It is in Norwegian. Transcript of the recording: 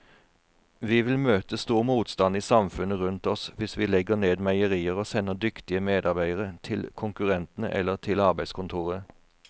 Vi vil møte stor motstand i samfunnet rundt oss hvis vi legger ned meierier og sender dyktige medarbeidere til konkurrentene eller til arbeidskontoret.